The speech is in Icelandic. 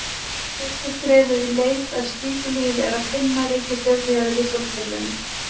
Fyrsta skrefið í leit að slíku lífi er að finna reikistjörnur í öðrum sólkerfum.